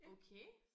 Okay